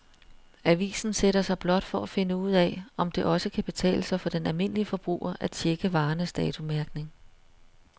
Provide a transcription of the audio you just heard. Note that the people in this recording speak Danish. Avisen sætter sig blot for at finde ud af, om det også kan betale sig for den almindelige forbruger at checke varernes datomærkning.